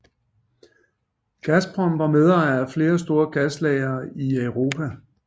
Gazprom var medejer af flere store gaslagre i Europa